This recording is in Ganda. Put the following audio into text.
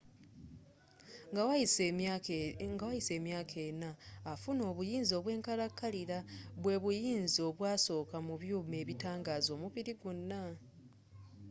nga wayise emyaka ena afuna obuyinza obwenkalakalila bwebuyinza obwasoka mu byuma ebitangaza omubiri gwona